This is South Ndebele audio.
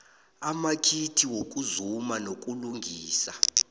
amakhiti wokuzuma nokulungisa